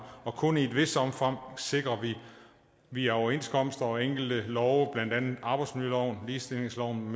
og kun i et vist omfang sikrer vi via overenskomster og enkelte love blandt andet arbejdsmiljøloven ligestillingsloven